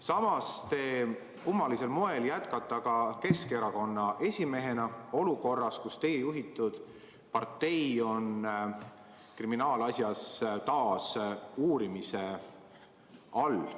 Samas te kummalisel moel jätkate Keskerakonna esimehena olukorras, kus teie juhitud partei on kriminaalasjas taas uurimise all.